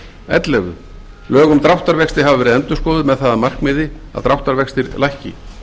ellefu lög um dráttarvexti hafa verið endurskoðuð með það að markmiði að dráttarvextir lækki